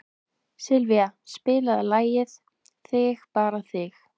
Sylvía, spilaðu lagið „Þig bara þig“.